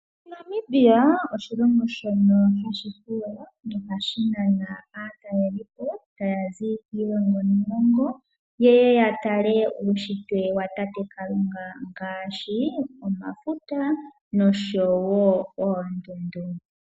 Namibia oshilongo shono hashi fuula. Nohashi nana aatalelipo taya zi kiilongo niilongo yeye yatale uushitwe watate Kalunga. Ngaashi oomafuta noshowo oondundu.